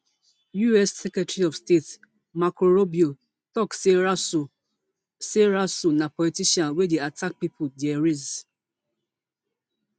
us secretary of state marco rubio tok say rasool say rasool na politician wey dey attack pipo dia race